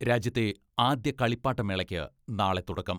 രാജ്യത്തെ ആദ്യ കളിപ്പാട്ട മേളയ്ക്ക് നാളെ തുടക്കം.